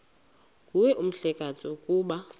nguwe mhlekazi ukuba